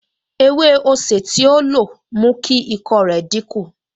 Ewé osè tí ó lo mú kí ikọ́ rẹ̀ dínkù